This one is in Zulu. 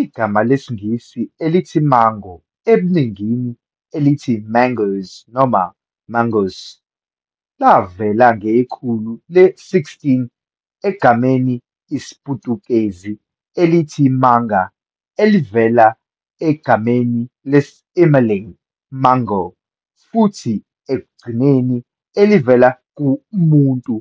Igama lesiNgisi elithi mango, ebuningini elithi "mangoes" noma "mangos", lavela Ngekhulu le-16 egameni IsiPutukezi elithi manga, elivela egameni lesIMalay mango, futhi ekugcineni elivela k"umuntu"